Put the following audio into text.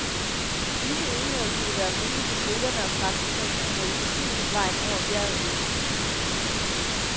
Med disse enheder skulle det være muligt for briterne og franskmændene at holde forsyningsvejen over bjerget åben.